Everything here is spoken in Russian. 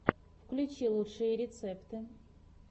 включи лучшие рецепты